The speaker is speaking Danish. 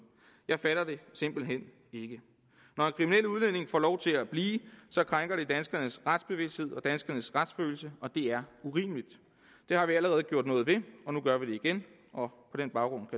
jeg fatter det simpelt hen ikke når en kriminel udlænding får lov til at blive krænker det danskernes retsbevidsthed og danskernes retsfølelse og det er urimeligt det har vi allerede gjort noget ved og nu gør vi det igen og på den baggrund